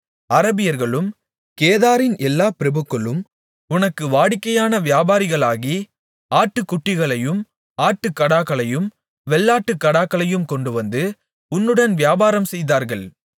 அரபியர்களும் கேதாரின் எல்லா பிரபுக்களும் உனக்கு வாடிக்கையானவியாபாரிகளாகி ஆட்டுக்குட்டிகளையும் ஆட்டுக்கடாக்களையும் வெள்ளாட்டுக்கடாக்களையும் கொண்டுவந்து உன்னுடன் வியாபாரம் செய்தார்கள்